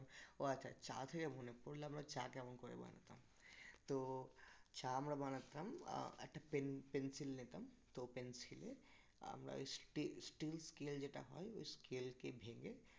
ও আচ্ছা চা থেকে মনে পড়লো আমরা চা কেমন করে বানাতাম তো চা আমরা বানাতাম আহ একটা পেনপেন্সিল নিতাম তো পেন্সিলে আমরা ওই steel স্কেল এর যেটা হয় ওই স্কেলকে ভেঙে